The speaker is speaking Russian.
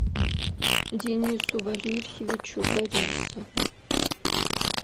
денису валерьевичу борисову